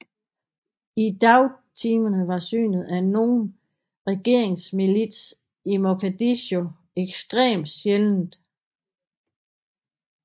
I dagtimerne var synet af nogen regeringsmilits i Mogadishu ekstremt sjældent